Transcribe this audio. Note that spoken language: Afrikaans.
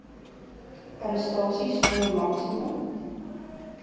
arrestasie sonder maksimum